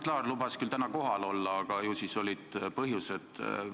Mart Laar lubas küll täna kohal olla, aga ju siis oli põhjus mitte tulla.